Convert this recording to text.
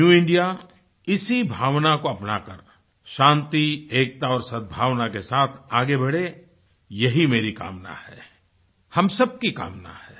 new इंडियाइसी भावना को अपनाकर शांति एकता और सदभावना के साथ आगे बढ़े यही मेरी कामना है हम सबकी कामना है